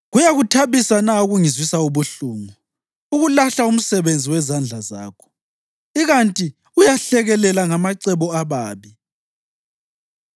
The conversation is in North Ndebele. Kuyakuthabisa na ukungizwisa ubuhlungu, ukulahla umsebenzi wezandla zakho, ikanti uyahlekelela ngamacebo ababi?